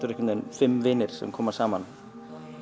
einhvern veginn fimm vinir sem koma saman